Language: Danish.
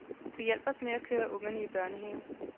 Du hjalp os med at køre ungerne i børnehave.